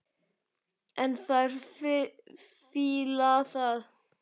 En þær fíla það.